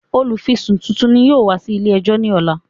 Olùfisùn titun ni yóò wá sí ilé ẹjọ́ ní ọ̀la